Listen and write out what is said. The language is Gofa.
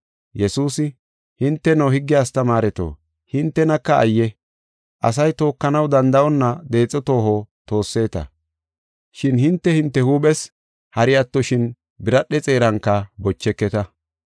Yesuusi, “Hinteno, higge astamaareto, hintenaka ayye! Asay tookanaw danda7onna deexo tooho toosseta, shin hinte hinte huuphes hari attoshin biradhe xeeranka bocheketa.